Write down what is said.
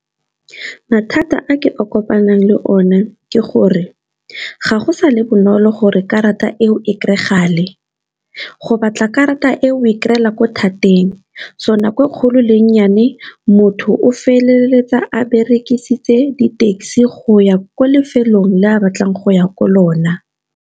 Mathata a ke kopanang le one ke gore, ga go sale bonolo gore karata eo e kry-agale. Go batla karata e o, o e kry-ela ko thateng, so nako e kgolo le ennyane, motho o feleletsa a berekisitse di-taxi go ya ko lefelong le a batlang go ya ko lona.